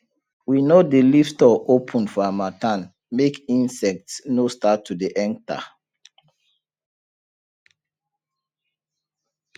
we no dey leave store open for harmattan make insect no start to dey enter